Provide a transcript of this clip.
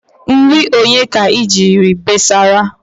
Nri onye ka ijiji besara?